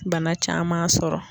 Bana caman sɔrɔ